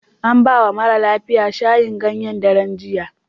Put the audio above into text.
An ba wa mara lafiyan shayin ganyen darejiya.